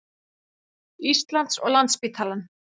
Íslands og Landspítalann.